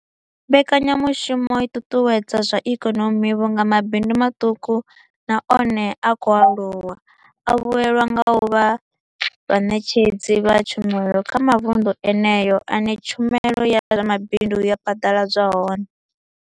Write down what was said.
Mbekanyamushumo i ṱuṱuwedza zwa ikonomi vhunga mabindu maṱuku na one a khou aluwa a vhuelwa nga u vha vhaṋetshedzi vha tshumelo kha mavundu eneyo ane tshumelo ya zwa mabindu ya phaḓaladzwa hone.